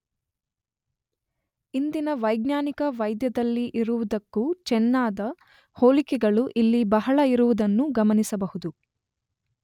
ಇಂದಿನ ವೈಜ್ಞಾನಿಕ ವೈದ್ಯದಲ್ಲಿ ಇರುವುದಕ್ಕೂ ಚೆನ್ನಾದ ಹೋಲಿಕೆಗಳು ಇಲ್ಲಿ ಬಹಳ ಇರುವುದನ್ನೂ ಗಮನಿಸಬಹುದು.